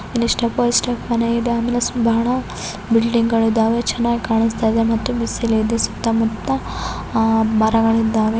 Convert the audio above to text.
ಇಲ್ ಷ್ಟಪ ಬೈ ಷ್ಟಪ ಮನೆ ಇದಾವೆ ಆಮೇಲೆ ಬಹಳ ಬಿಲ್ಡಿಂಗಗಳಿದವೇ ಚೆನ್ನಾಗಿ ಕಾನಿಸ್ತಾಇದೆ ಮತ್ತೆ ಬಿಸಿಲ ಇದೆ ಸುತ ಮುತ್ತಾ ಮರಗಳಿದವೇ .